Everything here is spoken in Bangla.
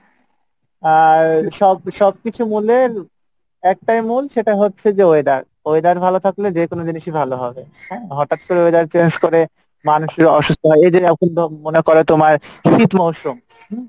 আর সব সবকিছু মুলের একটাই মূল সেটা হচ্ছে যে weather, weather ভালো থাকলে যে কোনো জিনিসই ভালো হবে, হ্যাঁ হটাৎ করে weather change করে মানুষ অসুস্থ হয় এইযে মনে করো তোমার শীত মশরুম হম